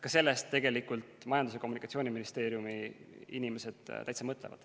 Selle peale Majandus- ja Kommunikatsiooniministeeriumi inimesed täitsa mõtlevad.